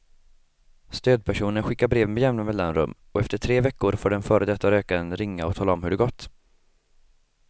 Stödpersonen skickar brev med jämna mellanrum och efter tre veckor får den före detta rökaren ringa och tala om hur det gått.